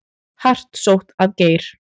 Hart sótt að Geir